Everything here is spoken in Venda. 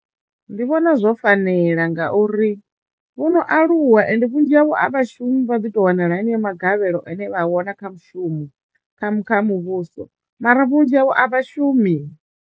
Ndi vhona zwo fanela ngauri vho no aluwa ende vhunzhi havho a vha shumi vha ḓi to wanala heneyo magavhelo ane vha a wana kha mushumo kha mu kha muvhuso mara vhunzhi havho a vha shumi.